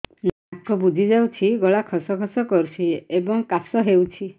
ନାକ ବୁଜି ଯାଉଛି ଗଳା ଖସ ଖସ କରୁଛି ଏବଂ କାଶ ହେଉଛି